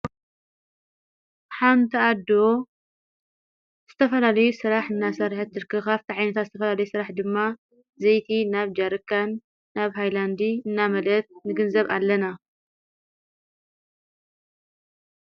ሓንተኣዶ ዝተፈላለዩ ሥራሕ እናሠርሐ እትርክኻፍ ተዓይነታ ዝተፈላለይ ሥራሕ ድማ ዘይቲ ናብ ጃርካን ናብ ሃይላንዲ እናመልአት ንግንዘብ ኣለና።